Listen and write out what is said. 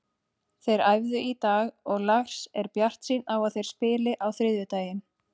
Þeir æfðu í dag og Lars er bjartsýnn á að þeir spili á þriðjudaginn.